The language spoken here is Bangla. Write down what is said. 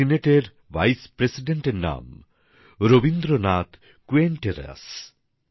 চিলির সেনেটের ভাইস প্রেসিডেন্ট এর নাম রবীন্দ্রনাথ কুইয়েন্টেরাস